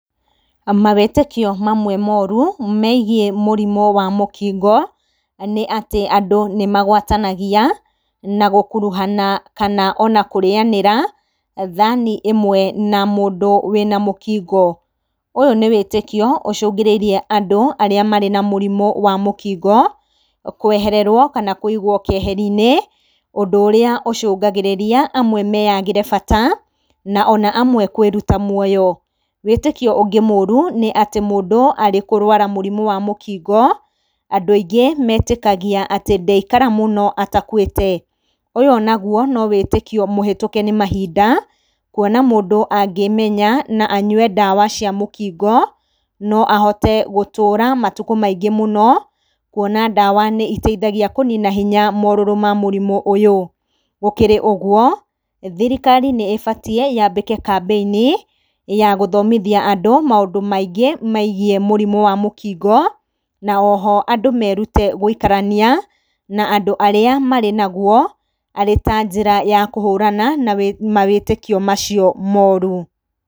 Mawĩtĩkio mamwe moru megiĩ mũrimũ wa mũkingo nĩ atĩ, andũ nĩmagwatanagia na gũkuruhana ona kana kũrĩyanĩra thani ĩmwe na mũndũ wĩ na mũkingo. Ũyũ nĩ wĩtĩkio ũcũngĩrĩirie andũ arĩa marĩ na mũrimũ wa mũkingo kwehererwo kana kũigwo keheri-nĩ, ũndũ ũrĩa ũcũngagĩrĩria amwe meyagĩre bata na ona amwe kwĩruta muoyo. Wĩtĩkio ũngĩ mũru nĩ atĩ mũndũ arĩ kũrwara mũrimũ wa mũkingo andũ aingĩ metĩkagia atĩ ndaikara mũno atakuĩte. Ũyũ naguo nĩ wĩtĩkio mũhetũke nĩ mahinda kuona mũndũ angĩĩmenya na anyue ndawa cia mũkingo no ahote gũtũra matukũ maingĩ mũno, kuona ndawa nĩihotaga kũnina hinya morũrũ ma mũrimũ ũyũ. Gũkĩrĩ ũguo thirikari nĩĩbatie yambĩke kambĩ-inĩ ya gũthomithia andũ maũndũ maingĩ megiĩ mũrimũ wa mũkingo na oho andũ merute gũikarania na andũ arĩa marĩ naguo arĩ ta njĩra ya kũhũrana na mawĩtĩkio macio moru.